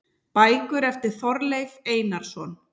Bækur eftir Þorleif Einarsson